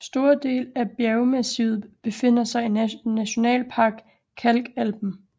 Store dele af bjergmassivet befinder sig i Nationalpark Kalkalpen